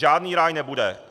Žádný ráj nebude.